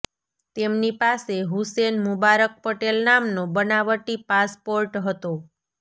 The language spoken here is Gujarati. તેમની પાસે હુસેન મુબારક પટેલ નામનો બનાવટી પાસપોર્ટ હતો